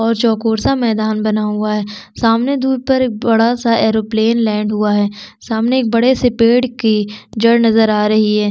और चॉकोर सा मैदान बना हुआ हैं सामने दूर पर एक बड़ा-सा एयरोप्लेन लैंड हुआ हैं सामने एक बड़े से पेड़ की जड़ नज़र आ रही हैं।